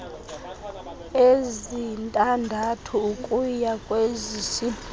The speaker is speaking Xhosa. ezintandathu ukuya kwezisibhozo